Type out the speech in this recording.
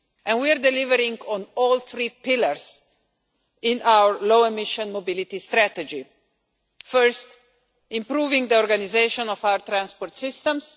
We are delivering on all three pillars in our low emission mobility strategy first, improving the organisation of our transport systems